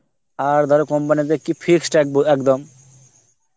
আর ধরো company তে কি fixed এব~ একদম